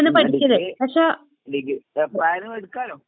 ഉം ആഹ് degree degree എപ്പളായാലും എടുക്കാല്ലോ.